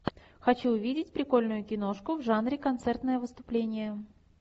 хочу увидеть прикольную киношку в жанре концертное выступление